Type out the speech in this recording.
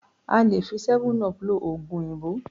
A lè fi '7up' lo òògùn òyìnbó